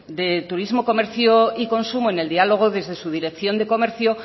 de turismo comercio y consumo en el diálogo desde su dirección de comercio